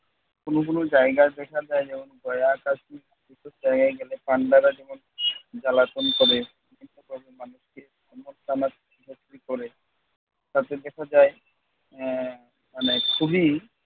কোন কোন জায়গা দেখা যায় যেমন গয়া, কাশি সেসব জায়গায় গেলে পান্ডারা যেমন জ্বালাতন করে। তাতেই দেখা যায় আহ মানে খুবই